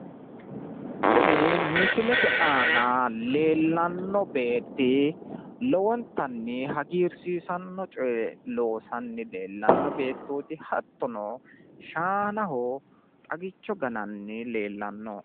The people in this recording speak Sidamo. Kuni misilete aana leellanno beetti lowonttanni hagiirsiisanno coye loosanni leellanno beettooti. hattono shaanaho xagicho gananni leellanno.